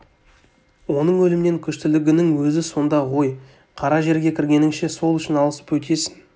оның өлімнен күштілігінің өзі сонда ғой қара жерге кіргеніңше сол үшін алысып өтесің